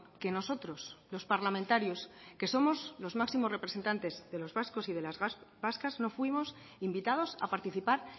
que nosotros los parlamentarios que somos los máximos representantes de los vascos y de las vascas no fuimos invitados a participar